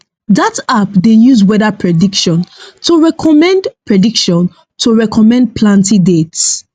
dat app dey use weather prediction to recommend prediction to recommend planting dates